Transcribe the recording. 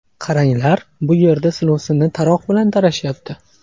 Qaranglar, bu yerda silovsinni taroq bilan tarashyapti.